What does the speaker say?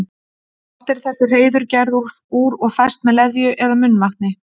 Oft eru þessi hreiður gerð úr og fest með leðju eða munnvatni.